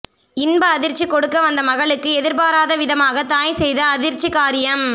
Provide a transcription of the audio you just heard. இன்ப அதிர்ச்சி கொடுக்க வந்த மகளுக்கு எதிர்பாராத விதமாக தாய் செய்த அதிர்ச்சி காரியம்